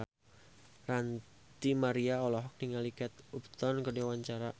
Ranty Maria olohok ningali Kate Upton keur diwawancara